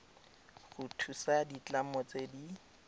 go thusa ditlamo tse di